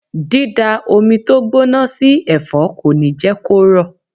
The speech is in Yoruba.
Dida omi tó gbóná sí ẹ̀fọ́ kò ní jẹ́ kó rọ̀.